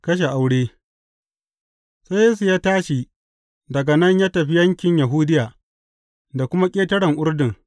Kashen aure Sai Yesu ya tashi daga nan ya tafi yankin Yahudiya, da kuma ƙetaren Urdun.